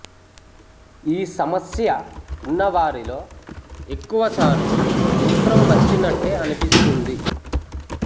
ఈ సమస్య ఉన్నవారిలో ఎక్కువ సార్లు మూత్రం వచ్చినట్టే అనిపిస్తుంది